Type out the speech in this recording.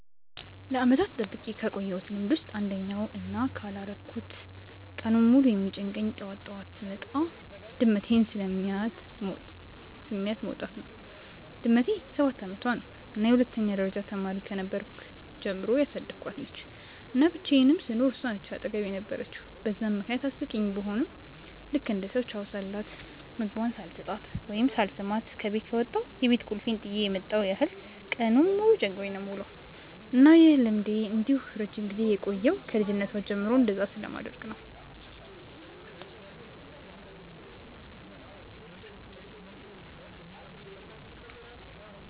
ለዓመታት ጠብቄ ካቆየውት ልምድ ውስጥ አንደኛው እና ካላረኩት ቀኑን ሙሉ የሚጨንቀኝ ጠዋት ጠዋት ስወጣ ድመቴን ስሚያት መውጣት ነው። ድመቴ ሰባት አመቷ ነው እና የሁለተኛ ደረጃ ተማሪ ከነበርኩ ጀምሮ ያሳደኳት ነች፤ እና ብቻየንም ስኖር እሷ ነች አጠገቤ የነበረችው በዛም ምክንያት አስቂኝ ቡሆም ልክ እንደ ሰው ቻው ሳልላት፣ ምግቧን ሳልሰጣት ወይም ሳልስማት ከበት ከወጣው የቤት ቁልፌን ጥየ የመጣው ያህል ቀኑን ሙሉ ጨንቆኝ ነው የምውለው። እና ይህ ልምዴ እንዲህ ረጅም ጊዜ የቆየው ከ ልጅነቷ ጀምሮ እንደዛ ስለማደርግ ነው።